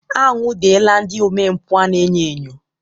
Anwụdela ndị omempụ a na-enyo enyo.